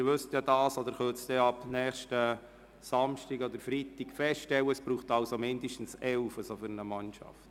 Sie wissen ja, dass es für eine Fussballmannschaft mindestens elf Leute braucht.